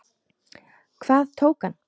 Hvað tók hann?